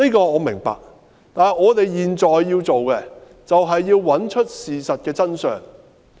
我明白這一點，但我們現在要做的，是要找出事情的真相。